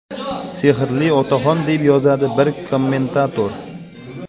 Sehrli otaxon”, deb yozadi bir kommentator.